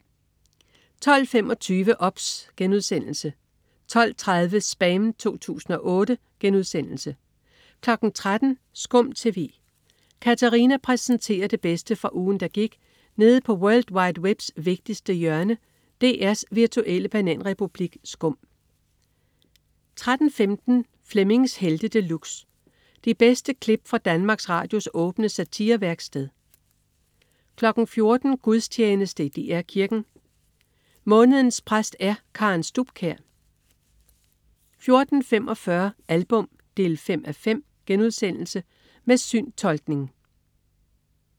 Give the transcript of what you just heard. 12.25 OBS* 12.30 SPAM 2008* 13.00 SKUM TV. Katarina præsenterer det bedste fra ugen, der gik nede på world wide webs vigtigste hjørne, DR's virtuelle bananrepublik SKUM 13.15 Flemmings Helte De Luxe. De bedste klip fra Danmarks Radios åbne satirevæksted 14.00 Gudstjeneste i DR Kirken. Månedens præst er Karen Stubkjær 14.45 Album 5:5.* Med syntolkning